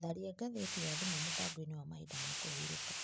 Tharia ngathĩti ya thimũ mũbango-inĩ wa mahinda wa kũhurũka.